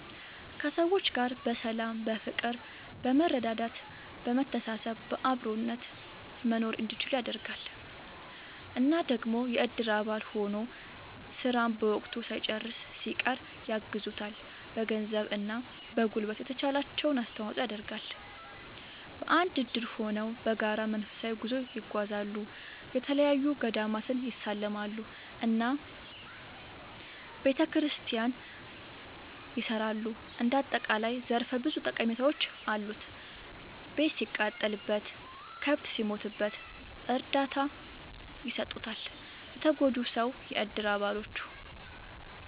ከሰዎች ጋር በሰላም በፍቅር በመረዳዳት በመተሳሰብ በአብሮነት መኖርእንዲችሉ ያደርጋል። እና ደግሞ የእድር አባል ሆኖ ስራን በወቅቱ ሳይጨርስ ሲቀር ያግዙታል በገንዘብ እና በጉልበት የተቻላቸውን አስተዋፅዖ ይደረጋል። በአንድ እድር ሆነው በጋራ መንፈሳዊ ጉዞ ይጓዛሉ፣ የተለያዪ ገዳማትን ይሳለማሉ እና ቤተክርስቲያን ያሰራሉ እንደ አጠቃላይ ዘርፈ ብዙ ጠቀሜታዎች አሉት። ቤት ሲቃጠልበት፣ ከብት ሲሞትበት እርዳታ ይሰጡታል ለተጎጂው ሰው የእድር አባሎቹ።…ተጨማሪ ይመልከቱ